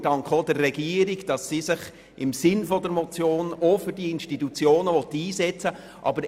Wir danken auch der Regierung dafür, dass sie sich im Sinn der Motion für diese Institutionen einsetzen will.